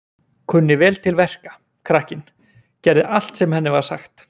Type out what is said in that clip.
Kunni vel til verka, krakkinn, gerði allt sem henni var sagt.